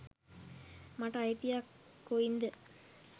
මට අයිතියක් කොයින්ද?